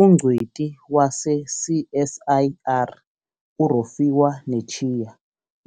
Ungcweti wase-CSIR u-Rofhiwa Netshiya